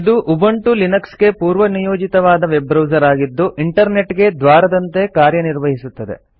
ಇದು ಉಬುಂಟು ಲಿನಕ್ಸ್ಗೆ ಪೂರ್ವನಿಯೋಜಿತವಾದ ವೆಬ್ಬ್ರೌಸರ್ ಆಗಿದ್ದು ಇಂಟರ್ನೆಟ್ ಗೆ ದ್ವಾರದಂತೆ ಕಾರ್ಯನಿರ್ವಹಿಸುತ್ತದೆ